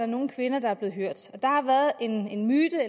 nogle kvinder der er blevet hørt der har været en myte